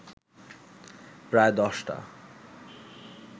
প্রায় দশটা